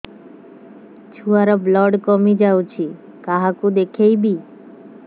ଛୁଆ ର ବ୍ଲଡ଼ କମି ଯାଉଛି କାହାକୁ ଦେଖେଇବି